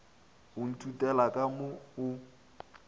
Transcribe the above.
o ntoutela ka mo o